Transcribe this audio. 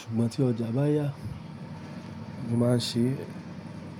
Ṣùgbọ́n tí ọjà bá yá, mo máa ń ṣe.